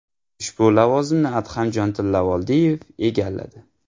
Ushbu lavozimni Adhamjon Tillavoldiyev egalladi.